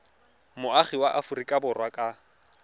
moagi wa aforika borwa ka